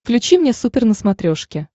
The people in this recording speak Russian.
включи мне супер на смотрешке